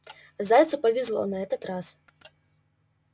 зайцу повезло на этот раз